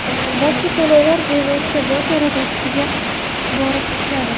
Barcha to‘lovlar bevosita bot yaratuvchisiga borib tushadi.